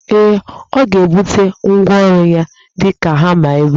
Ee, ọ ga ebute ngwaọru ya di ka hama ebe a